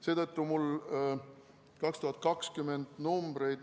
Seetõttu mul 2020. aasta numbreid ...